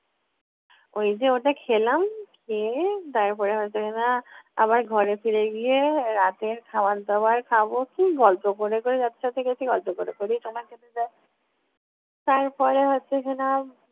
ওই যে ওটা খেলাম খেয়ে তার পরে হয়তো কি-না আবার ঘরে ফিরে গিয়ে রাতের খাবার দাবার খাবো। খেয়ে গল্প করে করে যাদের সাথে গেছি, গল্প করে করেই সময় কেটে যায়। তারপরে হচ্ছে কিনা